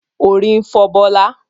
Orí ń fọ Bọlá